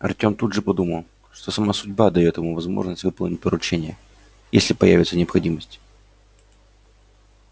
артём тут же подумал что сама судьба даёт ему возможность выполнить поручение если появится необходимость